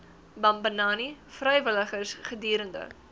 bambanani vrywilligers gedurende